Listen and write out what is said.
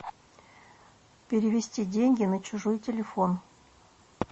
перевести деньги на чужой телефон